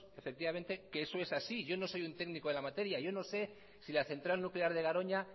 efectivamente que eso es así yo no soy un técnico en la materia yo no sé si la central nuclear de garoña